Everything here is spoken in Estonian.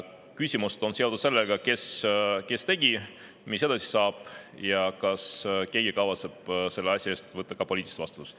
Küsimused on seotud sellega, kes selle tegi, mis edasi saab ja kas keegi kavatseb selle asja eest võtta poliitilise vastutuse.